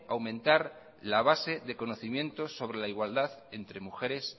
aumentar la base de conocimientos sobre la igualdad entre mujeres